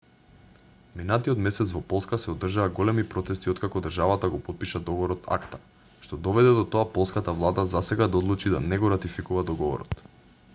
минатиот месец во полска се одржаа големи протести откако државата го потпиша договорот акта што доведе до тоа полската влада засега да одлучи да не го ратификува договорот